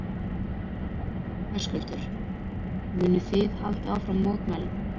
Höskuldur: Munið þið halda áfram mótmælum?